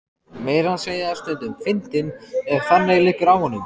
Meira að segja stundum fyndinn ef þannig liggur á honum.